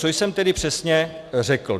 Co jsem tedy přesně řekl?